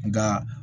Nka